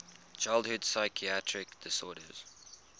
childhood psychiatric disorders